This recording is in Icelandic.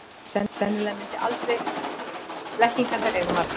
Blekkingarnar eru margar.